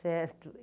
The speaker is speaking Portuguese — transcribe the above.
Certo.